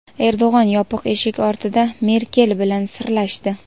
Erdo‘g‘an yopiq eshik ortida Merkel bilan "sirlashdi".